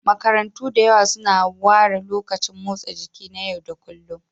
Makarantu da yawa suna ware lokacin motsa jiki na yau da kullun.